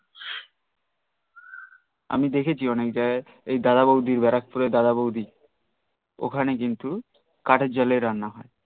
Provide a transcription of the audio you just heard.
আমি দেখেছি অনেক জায়গায়ে এই দাদা বউদি বারাকপুরের দাদা বউদি ওখানে কিন্তু কাঠের জালেই রান্না হয়